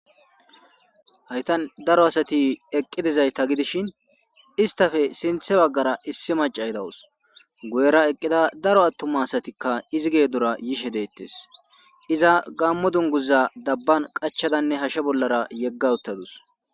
Haytan daro asati eqqi dizayta gidishin istafe sinthe baggara issi maca hidawus guyera eqqida daro attuma asatikka izi geedura yishe deettes iza gammo dunguza dabban qachadanne hashshe bollara yegga uttadus.